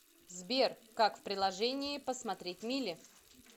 сбер как в приложении посмотреть мили